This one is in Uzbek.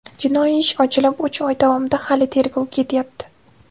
Jinoiy ish ochilib, uch oy davomida hali tergov ketyapti.